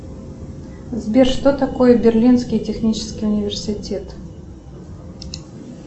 сбер что такое берлинский технический университет